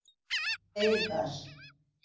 Eiðar